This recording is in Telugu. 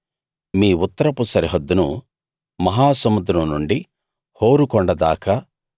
మీ ఉత్తరపు సరిహద్దును మహాసముద్రం నుండి హోరు కొండ దాకా